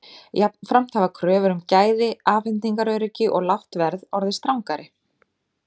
Jafnframt hafa kröfur um gæði, afhendingaröryggi og lágt verð orðið strangari.